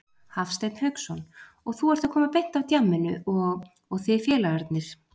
Hafsteinn Hauksson: Og þú ert að koma beint af djamminu og, og þið félagarnir?